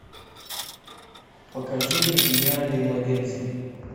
покажи мне гениальные младенцы